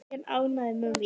Mjög ánægður með mig.